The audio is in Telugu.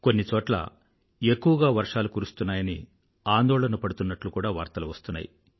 కొన్ని చోట్ల ఎక్కువగా వర్షాలు కురుస్తున్నాయని ఆందోళన పడుతున్నట్లు కూడా వార్తలు వస్తున్నాయి